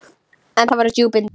En það voru djúpin dimmu.